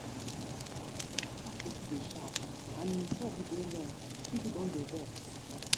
dat pastor too dey shout and him talk dey long people don dey vex